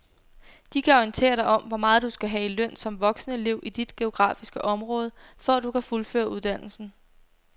De kan orientere dig om hvor meget du skal have i løn som voksenelev i dit geografiske område, for at du kan fuldføre uddannelsen.